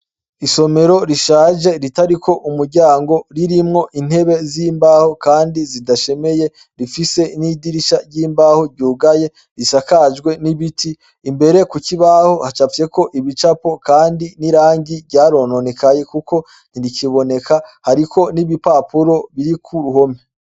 Isomero rishaje ritari ko umuryango ririmwo intebe zimbaho zidashemeye zifise idirisha ryimbaho ryugaye risakajwe nibiti imbere kukibaho hacafyeko ibicapo kandi nirangi ryarononekaye ntirikiboneka hariko nigipapuro Kiri kuruhome.